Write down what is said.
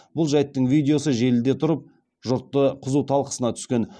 бұл жайттың видеосы желіде тұрып жұрттың қызу талқысына түскен